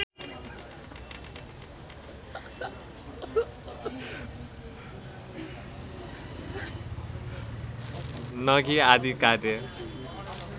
नगि आदि कार्य